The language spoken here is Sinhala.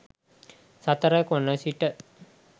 සතර කොණ සිට